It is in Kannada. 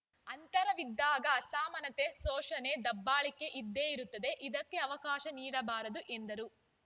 ಅಂತರವಿದ್ದಾಗ ಅಸಮಾನತೆ ಶೋಷಣೆ ದಬ್ಬಾಳಿಕೆ ಇದ್ದೇ ಇರುತ್ತದೆ ಇದಕ್ಕೆ ಅವಕಾಶ ನೀಡಬಾರದು ಎಂದರು